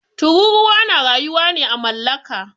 Tururuwa na rayuwa ne à mallaka.